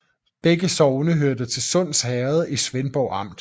Begge sogne hørte til Sunds Herred i Svendborg Amt